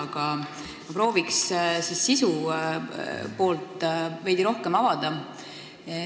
Aga ma prooviks sisu poolt veidi rohkem avada.